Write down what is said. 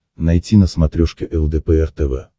найти на смотрешке лдпр тв